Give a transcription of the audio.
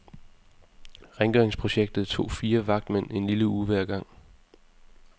Rengøringsprojektet tog fire vagtmænd en lille uge hver gang.